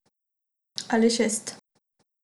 Ali šest.